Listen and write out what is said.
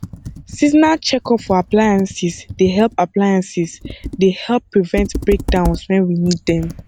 seasonal checkup for appliances dey help appliances dey help prevent breakdowns when we need them